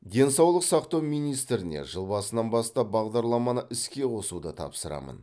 денсаулық сақтау министріне жыл басынан бастап бағдарламаны іске қосуды тапсырамын